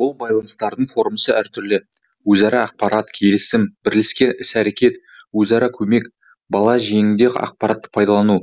бұл байланыстардың формасы әртүрлі өзара ақпарат келісім бірлескен іс әрекет өзара көмек бала жөнінде ақпаратты пайдалану